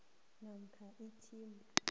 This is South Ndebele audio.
namkha i atm